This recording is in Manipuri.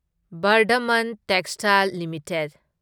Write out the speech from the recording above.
Vardhman textiles limited